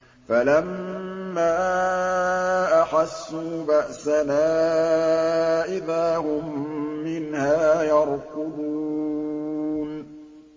فَلَمَّا أَحَسُّوا بَأْسَنَا إِذَا هُم مِّنْهَا يَرْكُضُونَ